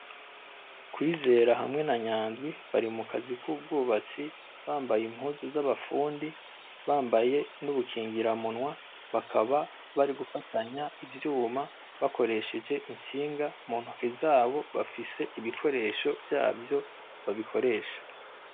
Kwizera hamwe na Nyandwi bari mu kazi k’ubwubatsi bambaye impuzu z’abafundi , bambaye n’ubukingiramunwa bakaba bari gufatanya ivyuma bakoresheje intsinga mu ntoke zabo bafise ibikoresho vyavyo babikoresha.